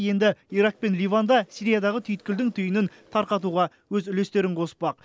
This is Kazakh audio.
енді ирак пен ливан да сириядағы түйткілдің түйінін тарқатуға өз үлестерін қоспақ